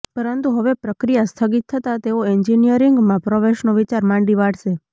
પરંતુ હવે પ્રક્રિયા સ્થગિત થતા તેઓ એન્જિનિયરિંગમાં પ્રવેશનો વિચાર માંડી વાળશે